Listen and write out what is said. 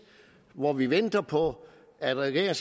hvor vi venter på at regeringen